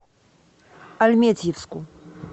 альметьевску